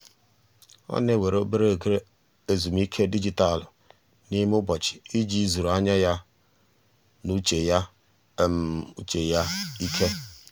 ọ na-ewere obere ezumike dijitalụ n'ime ụbọchị iji zuru anya ya na uche ya ike. uche ya ike.